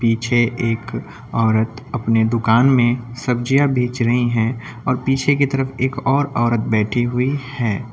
पीछे एक औरत अपनी दुकान में सब्जियां बेच रही हैं और पीछे की तरफ एक और औरत बैठी हुई हैं।